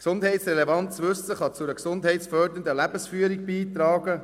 Gesundheitsrelevantes Wissen kann zu einer gesundheitsfördernden Lebensführung beitragen.